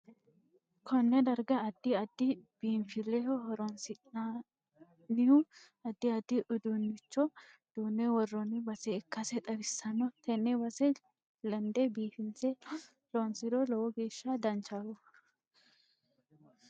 Konne darga addi addi biinfileho horoonsinanihu addi addi uduunicho duune worooni base ikkase xawissanno tenne base lende biifinse loonsiro lowo geesha danchaho